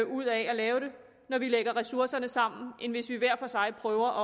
ud af at lave det når vi lægger ressourcerne sammen end hvis vi hver for sig prøver